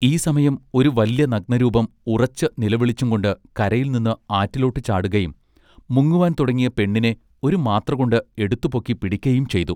ഈ സമയം ഒരു വല്ല്യ നഗ്നരൂപം ഉറച്ച് നിലവിളിച്ചുംകൊണ്ട് കരയിൽ നിന്ന് ആറ്റിലോട്ടു ചാടുകയും മുങ്ങുവാൻ തുടങ്ങിയ പെണ്ണിനെ ഒരു മാത്രകൊണ്ട് എടുത്തു പൊക്കി പിടിക്കയും ചെയ്തു.